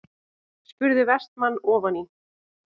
spurði Vestmann ofan í.